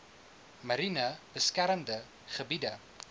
mariene beskermde gebiede